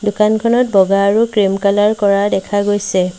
দোকানখনত বগা আৰু ক্ৰীম কালাৰ কৰা দেখা গৈছে।